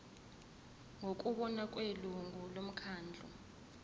ngokubona kwelungu lomkhandlu